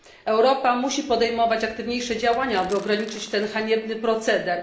Europa musi podejmować aktywniejsze działania, aby ograniczyć ten haniebny proceder.